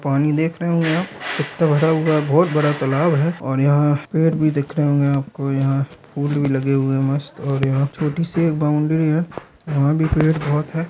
पानी देख रहे होंगे आप कितना भरा हुआ है बहुत बड़ा तालाब है और यहाँ पेड़ भी दिख रहे होंगे आपको यहाँ फूल-ऊल भी लगे हुए हैं मस्त यहाँ छोटी सी बाउंड्री है वहां भी पेड़ बहुत है।